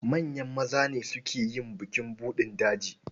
Manyan maza ne suke yin bukin buɗin daji.